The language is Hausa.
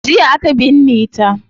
Jiya aka binne ta